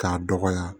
K'a dɔgɔya